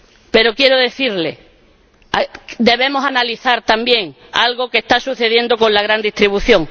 Pero quiero decirle que debemos analizar también algo que está sucediendo con la gran distribución.